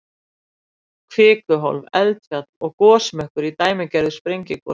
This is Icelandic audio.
Kvikuhólf, eldfjall og gosmökkur í dæmigerðu sprengigosi.